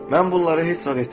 Mən bunları heç vaxt etmərəm.